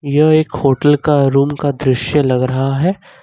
यह एक होटल का रूम का दृश्य लग रहा है।